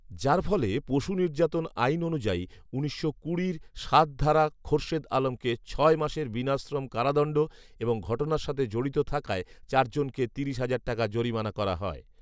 যারফলে পশু নির্যাতন আইন অনুযায়ী, উনিশশো কুড়ির সাত খোরশেদ আলমকে ছয় মাসের বিনাশ্রম কারাদন্ড এবং ঘটনার সাথে জড়িত থাকায় চার জনকে তিরিশ হাজার টাকা জরিমানা করা হয়